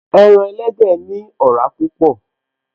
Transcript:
Ẹran elédè ní ọ̀rá púpọ̀